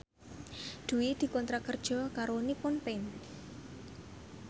Dwi dikontrak kerja karo Nippon Paint